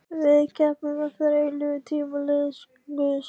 Við keppum eftir eilífð og tímaleysi Guðs.